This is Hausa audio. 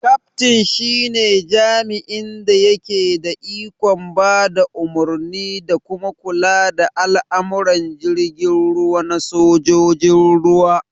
Kaftin shi ne jami'in da yake da ikon ba da umarni da kuma kula da al'amuran jirgin ruwa na sojojin ruwa